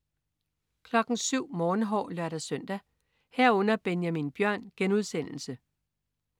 07.00 Morgenhår (lør-søn) 07.00 Benjamin Bjørn* (lør-søn)